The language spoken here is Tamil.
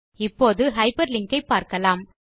இப்போது ஹைப்பர்லிங்க் ஐ பார்க்கலாம்